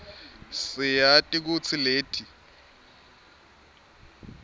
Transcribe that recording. siyati kutsi leti